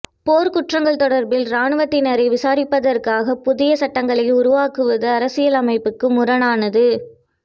போர்க்குற்றங்கள் தொடர்பில் இராணுவத்தினரை விசாரிப்பதற்காக புதிய சட்டங்களை உருவாக்குவது அரசியலமைப்புக்கு முரணானது